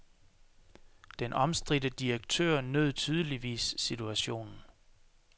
Den omstridte direktør nød tydeligvis situationen.